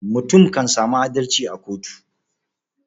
Mutum kan sami adalci a koko.